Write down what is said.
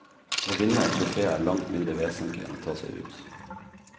Å vinne et trofé er langt mindre vesentlig enn å ta seg ut.